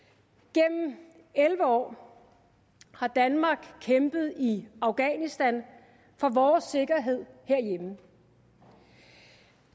gennem elleve år har danmark kæmpet i afghanistan for vores sikkerhed herhjemme